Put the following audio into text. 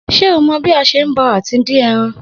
Se ó mọ bí a bò àti dín eran?